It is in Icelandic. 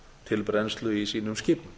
til brennslu í sínum skipum